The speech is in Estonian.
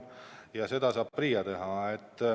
Ja seda saab PRIA teha.